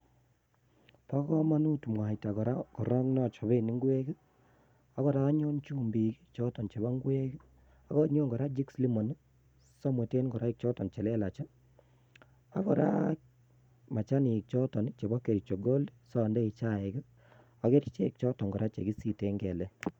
Bo komonut mwaita kora neoochoben ingwek, akora anyon chumbik chebo ngwek ak yeityo anyone machanik choton chebo kericho Gold sondoi chain, ak kerichek choton chekisiten kelek